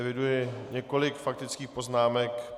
Eviduji několik faktických poznámek.